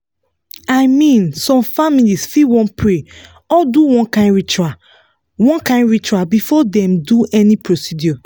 i mean some families fit wan pray or do one kind ritual one kind ritual before dem do any procedure